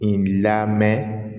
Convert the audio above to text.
I lamɛn